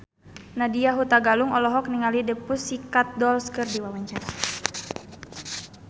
Nadya Hutagalung olohok ningali The Pussycat Dolls keur diwawancara